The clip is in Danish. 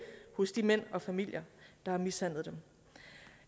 hos de mænd og familier der har mishandlet dem